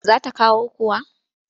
Za ta kawo kuwa?